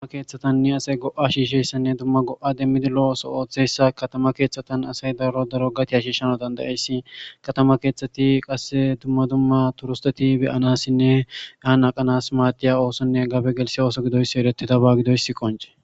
Duma keeththatanne asay go7a shiishessanne dumma go7a demmidi lo ooso ooththessa katama keeththatan asay daro daro gati ha shiishano dandayeyssi katama keeththati qasse dumma dumma turusteti beyanassinne yaan aqanas maadiya oosonne gabe gelshe ooso gidoyssi eretida ba gidoyssi qonce.